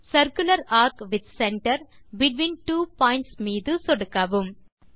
circular ARC with center between two points மீது சொடுக்கவும்